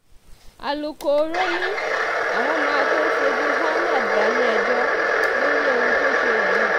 alūkkóró ni àwọn máa tóó fojú ahmed balẹ̀-ẹjọ́ lórí ohun tó ṣe yìí